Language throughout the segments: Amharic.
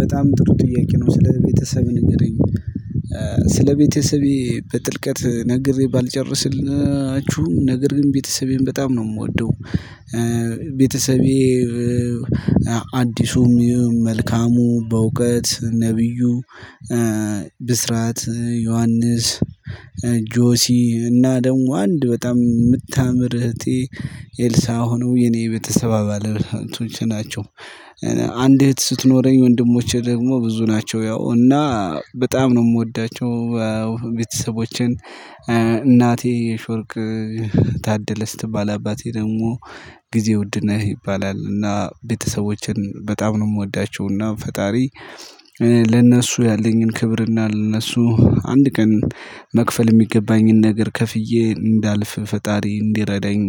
በጣም ጥሩ ጥያቄ ነው ስለ ቤተሰብህ ንገረኝ። ስለ ቤተሰቤ በጥልቀት ነግሬ ባልጨርስልችሁ ነገር ግን ቤተሰቤን በጣም ነው የምወደው። ቤተሰቤ። አዲሱም መልካሙ በእውቀት ነብዩ ብስራት ዮሐንስ ጆሲ እና ደግሞ አንድ በጣም እምታምር እህቴ ኤልሳ ሆነው የኔ ቤተሰብ አባላቶች ናቸው። አንድ እህት ስትኖረኝ ወንድሞቼ ደግሞ ብዙ ናቸው ያው እና በጣም ነው እምወዳቸው ቤተሰቦቼን። እናቴ የሺወርቅ ታደለ ስትባል አባቴ ደግሞ ጊዜ ውድ ነህ ይባላል። እና ቤተሰቦቼን በጣም ነው የምወዳቸው። እና ፈጣሪ ለእነሱ ያለኝን ክብር እና ለእነሱ አንድ ቀን መክፈል እሚገባኝን ነገር ከፍዬ እንዳለፍ ፈጣሪ እንዲረዳኝ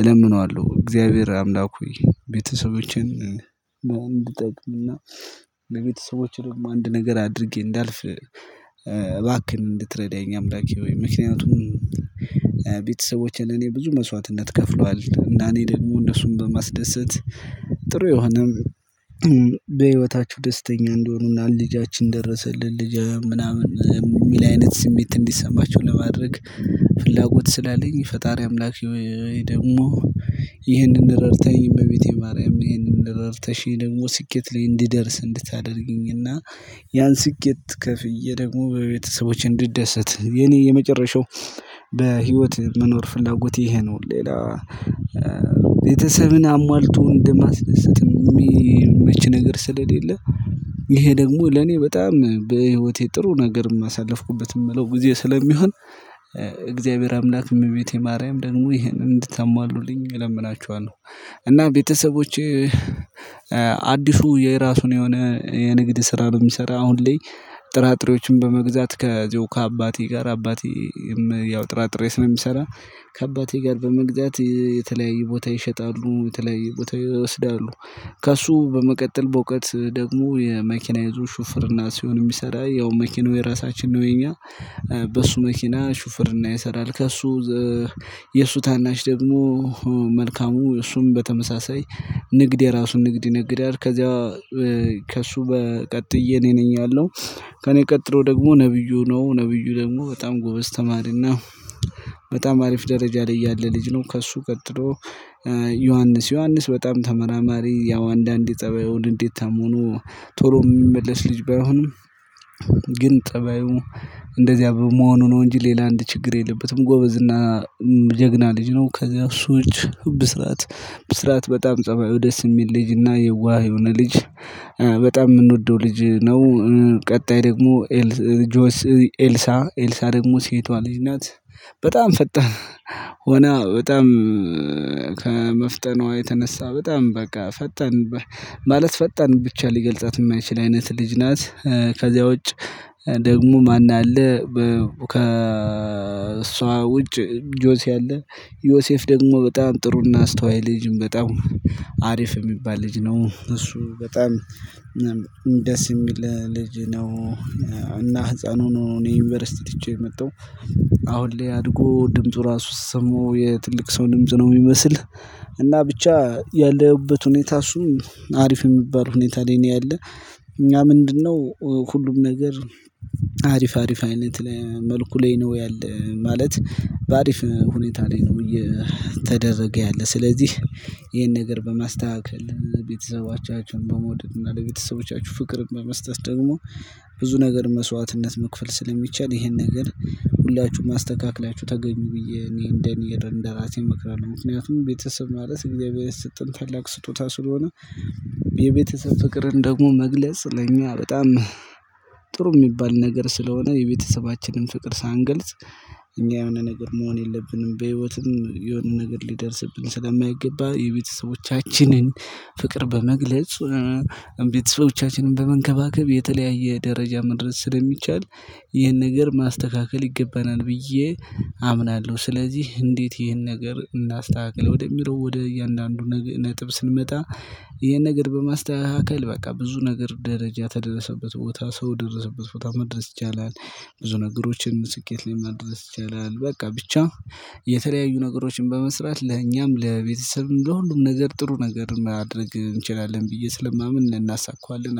እለምነዋለሁ። እግዚአብሔር አምላክ ሆይ ቤተሰቦችን እንድጠቅምና ለቤተሰቦቼ ደግሞ አንድ ነገር አድርጌ እንዳልፍ እባክህን እንድትረዳኝ አምላኬ ሆይ። ምክንያቱም ቤተሰቦቼን እኔ ብዙ መስዋዕትነት ከፍለዋል እና እኔ ደግሞ እነሱን በማስደሰት። ጥሩ የሆነ በህይወታችሁ ደስተኛ እንዲሆኑና ልጃችን ደረሰልን ልጃችን ምናምን እሚል አይነት ስሜት እንዲሰማችሁ ለማድረግ። ፍላጎት ስላለኝ ፈጣሪ አምላክ ወይ ደግሞ ይሄንን ረድታኝ እመቤቴ ማርያም ይሄንን ረድተሽኝ ደግሞ ስኬት ላይ እንድደርስ እንድታደርጊኝ እና። ያን ስኬት ከፍዬ ደግሞ በቤተሰቦቼ እንድ ደሰት የኔ የመጨረሻው በህይወት መኖር ፍላጎት ይሄ ነው። ሌላ ቤተሰብን አሟልቶ እንደማስደሰት እሚመች ነገር ስለሌለ። ይሄ ደግሞ ለኔ በጣም በህይወቴ ጥሩ ነገርም አሳለፍኩበት እምለው ጊዜ ስለሚሆን። እግዚአብሔር አምላክ እመቤቴ ማርያም ደግሞ ይሄንን እንድታሟሉልኝ እለምናችኋለሁ። እና ቤተሰቦቼ አዲሱ የራሱን የሆነ የንግድ ስራ በሚሰራ አሁን ላይ ጥራጥሬዎችን በመግዛት ከዜው ከአባቴ ጋር አባቴም ያው ጥራጥሬም ስለ ሚሰራ። ከአባቴ ጋር በመግዛት የተለያዩ ቦታ ይሸጣሉ የተለያየ ቦታ ይወስዳሉ። ከእሱ በመቀጠል በእዉቀት ደግሞ የ መኪና የዞ ሹፍርና ሲሆን እሚሰራ ያው መኪናው የራሳችን ነው የኛ በሱ መኪና ሹፍርና ይሰራል። ከእሱ የእሱ ታናሽ ደግሞ መልካሙ እሱም በተመሳሳይ ንግድ የራሱን ንግድ ይነግዳል። ከዚያ ከእሱ ቀጥዬ እኔ ነኝ ያለው ከእኔ ቀጥሎ ደግሞ ነብዩ ነው። ነብዩ ደግሞ በጣም ጎበዝ ተማሪ እና አሪፍ ደረጃ ላይ ያለ ልጅ ነው። ከእሱ ቀጥሎ ዮሐንስ ዮሐንስ በጣም ተመራማሪ ያው አንዳንዴ ፀባዩን ንዴታም ሆኖ ቶሎ እሚመለስ ልጅ ባይሆንም። ግን ፀባዩ እንደዚያ በመሆኑ ነው እንጂ ሌላ አንድ ችግር የለበትም። ጎበዝ እና ጀግና ልጅ ነው። ከዚያ እሱ እጅ ብስራት ብስራት በጣም ፀባዩ ደስ እሚል ልጅና የዋህ የሆነ ልጅ። በጣም ምንወደው ልጅ ነው። ቀጣይ ደግሞ ኤልሳ ኤልሳ ደግሞ ሴቷ ልጅ ናት። በጣም ፈጣን ሆና በጣም ከመፍጠኗ የተነሳ በጣም በቃ ፈጣን ማለት ፈጣን ብቻ ሊገልጻት እማይችል አይነት ልጅ ናት። ከዚያ ውጭ ደግሞ ማን አለ? ከእሷ ውጭ ጆሲ አለ። ዮሴፍ ደግሞ በጣም ጥሩና አስተዋይ ልጅም በጣም አሪፍ እሚባል ልጅ ነው። እሱ በጣም ደስ እሚል ልጅ ነው። እና ህፃን ሆኖ ነው ዩኒቨርሲቲ ትቼው የመጣው አሁን ላይ አድጎ ድምፁ ራሱ ስሰማው የትልቅ ሰው ድምጽ ነው እሚመስል። እና ብቻ ያለሁበት ሁኔታ እሱም አሪፍ እሚባል ሁኔታ ላይ ያለ እኛ ምንድነው? ሁሉም ነገር አሪፍ አሪፍ አይነት መልኩ ላይ ነው ያለው ማለት። በአሪፍ ሁኔታ ላይ ነው እየተደረገ ያለው ስለዚህ። ይሄን ነገር በማስተካከል ቤተሰቦቻችሁን በመውደድ እና ለቤተሰቦቻችሁ ፍቅርን በመስጠት ደግሞ ብዙ ነገር መስዋዕትነት መክፈል ስለሚቻል ይሄን ነገር ሁላችሁም አስተካክላችሁ ተገኙ ብዬ እኔ እንደ እኔ እንደ ራሴ እመክራለሁ። ምክንያቱም ቤተሰብ ማለት እግዚአብሔር የሰጠን ታላቅ ስጦታ ስለሆነ። የቤተሰብ ፍቅርን ደግሞ መግለጽ ለእኛ በጣም ጥሩ እሚባል ነገር ስለሆነ የቤተሰባችንን ፍቅር ሳንገልጽ እኛ የሆነ ነገር መሆን የለብንም። በህይወትም የሆነ ነገር ሊደርስብን ስለማይገባ የቤተሰቦቻችንን ፍቅር በመግለጽ ቤተሰቦቻችንን በመንከባከብ የተለያየ ደረጃ መድረስ ስለሚቻል ይህን ነገር ማስተካከል ይገባናል። ብዬ አምናለሁ። ስለዚህ እንዴት ይሄን ነገር እናስተካክለው ወደሚለው ወደ እያንዳንዱ ነጥብ ስንመጣ። ይሄን ነገር በማስተካከል በቃ ብዙ ነገር ደረጃ የተደረሰበት ቦታ ሰው የደረሰበት ቦታ መድረስ ይቻላል። ብዙ ነገሮችን ስኬት ላይ ማድረስ ይቻላል። በቃ ብቻ የተለያዩ ነገሮችን በመስራት ለእኛም ለቤተሰብም ለሁሉም ነገር ጥሩ ነገር ማድረግ እንችላለን ብዬ ስለማምን እናሳካዋለን